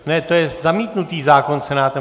Ne, to je zamítnutý zákon Senátem.